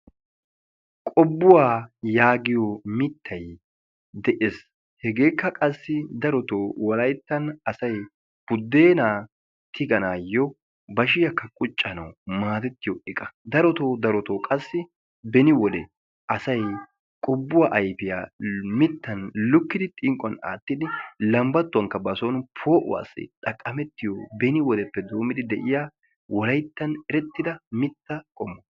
qobbuwa yaagiyo mittay de'ees. hegekka qassi darotoo Wolayttan asay budena tiganayyo bashshiyakka quccanaw maaddetiyo iqqa, darotoo darotoo beni wodee asay qobbuwa ayfiya mittan lukkidi xinqquwan aattidi lambbatuwankka ba soon xaqqamettiyo beni wodeppe doommidi go''ettiyo erettida mitta qommo.